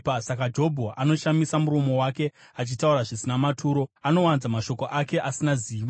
Saka Jobho anoshamisa muromo wake achitaura zvisina maturo; anowanza mashoko ake asina zivo.”